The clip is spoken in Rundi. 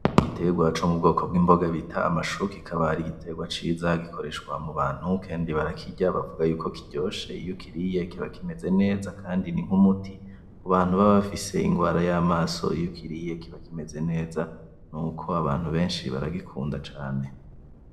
Igiterwa co m'Ubwoko bw'imboga bita amashu, kikab'ari igiterwa ciza gikoreshwa mubantu Kandi barakirya bavuga yuko kiryoshe iyo ukiriye kiba kimeze neza nink'umuti ,kubantu baba bafise ingwara y'amaso iyukiriye kiba kimeze neza, n'uko Abantu benshi baragikunda cane.